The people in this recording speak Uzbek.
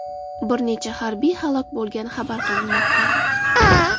Bir necha harbiy halok bo‘lgani xabar qilinmoqda.